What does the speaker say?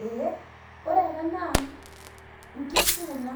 Ee ore ena na nkishubkuna